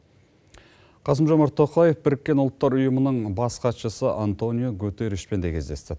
қасым жомарт тоқаев біріккен ұлттар ұйымының бас хатшысы антониу гутерришпен де кездесті